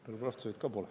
Belobrovtsevit ka pole.